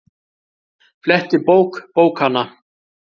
Fletti bók bókanna.